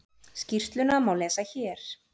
Skýrsluna má lesa hér